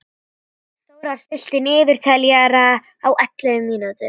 Þórar, stilltu niðurteljara á ellefu mínútur.